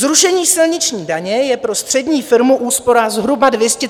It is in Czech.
Zrušení silniční daně je pro střední firmu úspora zhruba 230 000 korun.